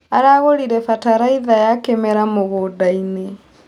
Aragũrire bataraitha ya kĩmerera mũgũndainĩ.